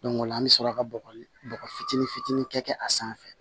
o la an bɛ sɔrɔ ka bɔgɔ bɔgɔ fitinin fitinin kɛ a sanfɛ